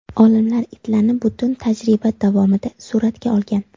Olimlar itlarni butun tajriba davomida suratga olgan.